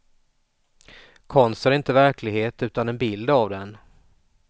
Konst är inte verklighet utan en bild av den.